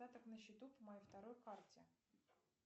остаток на счету по моей второй карте